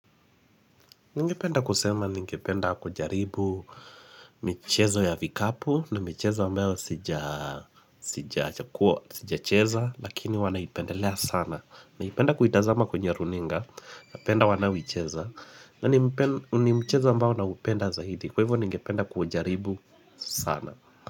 Ningependa kusema ningependa kujaribu michezo ya vikapu na michezo ambayo sijaa sijachekuwa sija cheza lakini huwa naipendelea sana Naipenda kuitazama kwenye runinga napenda wanaoicheza na ni ni mchezo ambao naupenda zaidi kwa hivyo ningependa kuujaribu sana.